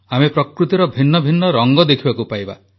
ଆମେ ପ୍ରକୃତିର ଭିନ୍ନ ଭିନ୍ନ ରଙ୍ଗ ଦେଖିବାକୁ ପାଇବା